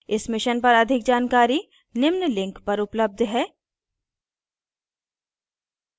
इस mission पर अधिक जानकरी नीचे दिए link पर उपलब्ध है